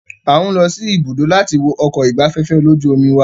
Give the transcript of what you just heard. A ń lọ sí ibùdó láti wo ọkọ̀ ìgbafẹ́fẹ́ lójú omi wa.